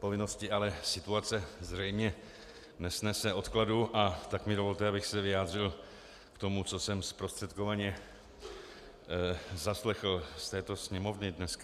povinnosti, ale situace zřejmě nesnese odkladu, a tak mi dovolte, abych se vyjádřil k tomu, co jsem zprostředkovaně zaslechl z této sněmovny dneska.